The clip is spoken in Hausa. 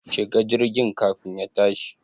Shi ga jirgin kafin ya tashi